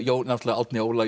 náttúrulega Árni Óla